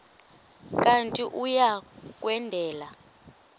kanti uia kwendela